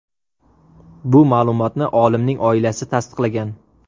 Bu ma’lumotni olimning oilasi tasdiqlagan.